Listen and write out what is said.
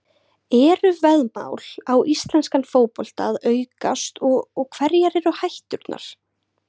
Eru veðmál á íslenskan fótbolta að aukast og hverjar eru hætturnar?